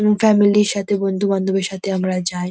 এবং ফ্যামিলি র সাথে বন্ধু-বান্ধবের সাথে আমরা যাই।